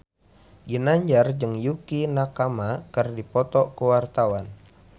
Ginanjar jeung Yukie Nakama keur dipoto ku wartawan